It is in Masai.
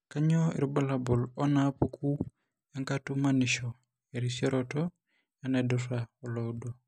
Kainyio irbulabul onaapuku enkatumanisho, erisioroto oenaidura oloudo?